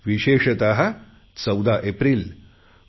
विशेषत 14 एप्रिल डॉ